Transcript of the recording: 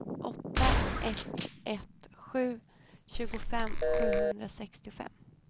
åtta ett ett sju tjugofem sjuhundrasextiofem